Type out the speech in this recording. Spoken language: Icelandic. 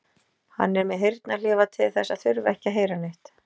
Hann er með heyrnarhlífar til þess að þurfa ekki að heyra neitt.